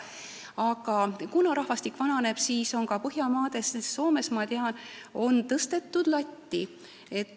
Aga kuna rahvastik vananeb, siis on ka Põhjamaades, näiteks Soomes, ma tean, tõstetud latti.